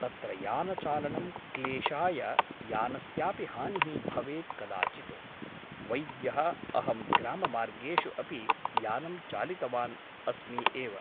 तत्र यानचालनं क्लेशाय यानस्यापि हानिः भवेत् कदाचित् । वैद्यः अहं ग्राममार्गेषु अपि यानं चालितवान् अस्मि एव ।